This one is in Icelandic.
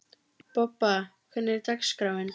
Bobba, hvernig er dagskráin?